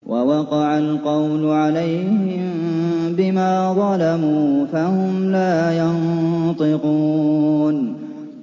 وَوَقَعَ الْقَوْلُ عَلَيْهِم بِمَا ظَلَمُوا فَهُمْ لَا يَنطِقُونَ